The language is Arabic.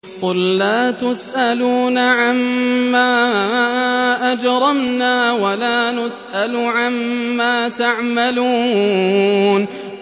قُل لَّا تُسْأَلُونَ عَمَّا أَجْرَمْنَا وَلَا نُسْأَلُ عَمَّا تَعْمَلُونَ